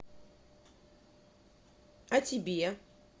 а тебе